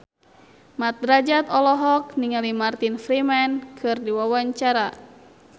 Mat Drajat olohok ningali Martin Freeman keur diwawancara